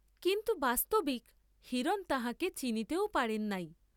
কিন্তু বাস্তবিক হিরণ তাঁহাকে চিনিতেও পারেন নাই।